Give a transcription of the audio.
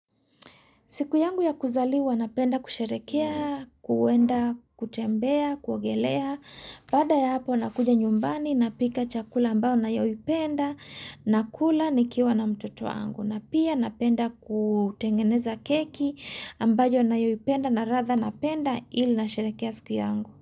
Siku yangu ya kuzali napenda kusherekea, kuenda, kutembea, kuogelea. Baada ya hapo nakuja nyumbani na pika chakula ambao nayo ipenda na kula nikiwa na mtoto wangu. Na pia napenda kutengeneza keki ambayo nayo ipenda na ratha napenda ili na sherekea siku yangu.